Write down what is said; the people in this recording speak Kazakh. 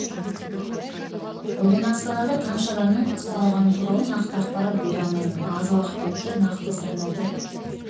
бүгін астанада қанша адамның ұсталғаны туралы нақты ақпарат бере алмаймын аз уақыт өтті нақты сандарды